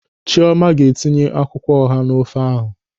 Chiọma ga-etinye akwụkwọ ọha n'ofe ahụ.